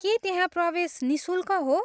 के त्यहाँ प्रवेश निःशुल्क हो?